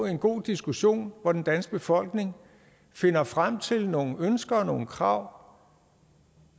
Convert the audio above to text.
en god diskussion hvor den danske befolkning finder frem til nogle ønsker og nogle krav